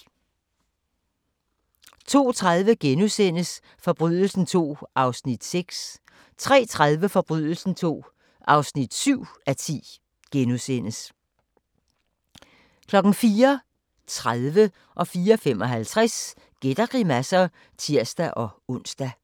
02:30: Forbrydelsen II (6:10)* 03:30: Forbrydelsen II (7:10)* 04:30: Gæt og grimasser (tir-ons) 04:55: Gæt og grimasser (tir-ons)